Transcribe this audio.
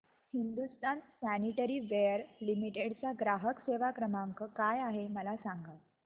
Hindustan sanitaryware limited चा ग्राहक सेवा क्रमांक काय आहे मला सांगा